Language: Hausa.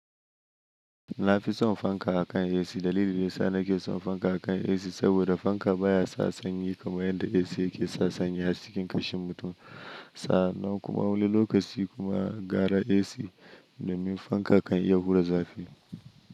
Na fi son fanka akan AC. Dalilin da yana ke son fanka akan AC saboda fanka baya sa sanyi kamar yadda AC ke sa sanyi a cikin kashin mutum. Sa nan kuma wani lokaci kuma gara AC numin fanka kan ya hura zafi.